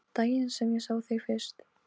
Daginn sem ég sá þig fyrst.